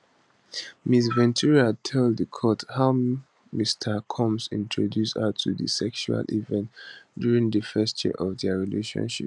ms ventura tell di court how mr combs introduce her to di sexual events during di first year of dia relationship